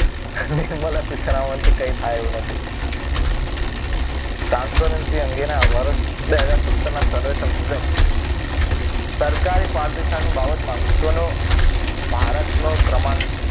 નિર્મલા સીતારામનથી કઈ થાય એવું નથી. ટ્રાન્સપરન્સી અંગેના વરસ બે હજાર સત્તર ના પ્રદર્શન મુજબ સરકારે પારદર્શિતા ની બાબતમાં વિશ્વનું ભારતનો ક્રમાંક,